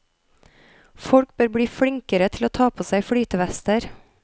Folk bør bli flinkere til å ta på seg flytevester.